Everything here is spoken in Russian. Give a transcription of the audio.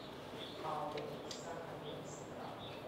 ао сахамедстрах